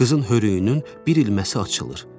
Qızın hörüyünün bir ilməsi açılır.